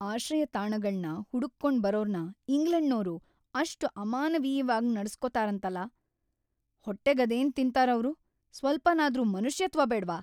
ಆಶ್ರಯತಾಣಗಳ್ನ ಹುಡುಕ್ಕೊಂಡ್ ಬರೋರ್ನ ಇಂಗ್ಲೆಂಡ್‌ನೋರು ‌ಅಷ್ಟ್ ಅಮಾನವೀಯವಾಗ್ ನಡೆಸ್ಕೋತಾರಂತಲ, ಹೊಟ್ಟೆಗದೇನ್‌ ತಿಂತಾರ್‌ ಅವ್ರು! ಸ್ವಲ್ಪನಾದ್ರೂ ಮನುಷ್ಯತ್ವ ಬೇಡ್ವಾ!